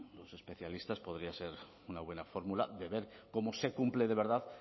los especialistas podría ser una buena fórmula de ver cómo se cumple de verdad